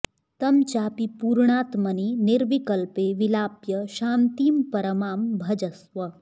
तं चापि पूर्णात्मनि निर्विकल्पे विलाप्य शान्तिं परमां भजस्व